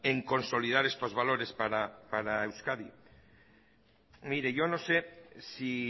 en consolidar estos valores para euskadi mire yo no sé si